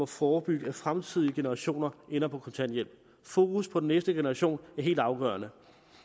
forebygge at fremtidige generationer ender på kontanthjælp fokus på den næste generation er helt afgørende